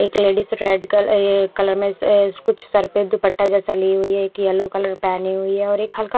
एक ladies red कल ये कलर में अ कुछ सर पे दुपट्टा जैसा ली हुई है एक येलो कलर पहनी हुई है और एक हल्का--